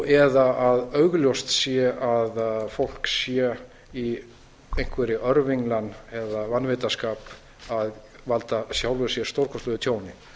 eða að augljóst sé að fólk sé í einhverri örvinglan eða vanvitaskap að valda sjálfu sér stórkostlegu tjóni